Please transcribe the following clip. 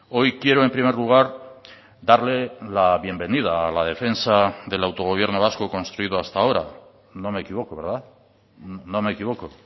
hoy quiero en primer lugar darle la bienvenida a la defensa del autogobierno vasco construido hasta ahora no me equivoco verdad no me equivoco